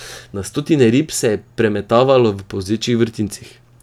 Na stotine rib se je premetavalo v polzečih vrtincih.